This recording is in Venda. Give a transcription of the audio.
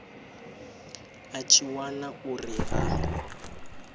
a tshi wana uri ha